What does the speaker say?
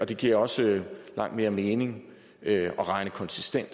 det giver også langt mere mening at regne konsistent